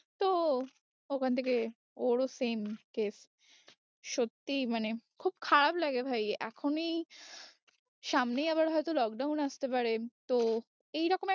তো ওখান থেকে ওর ও same case সত্যি মানে খুব খারাপ লাগে ভাই এখন এই সামনেই আবার হয়তো lockdown আসতে পারে তো এইরকম এক